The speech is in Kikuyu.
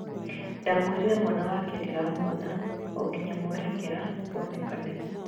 " Ndamũĩrire mwana wake ndĩramũrora o-nginya mwerekera wonekane."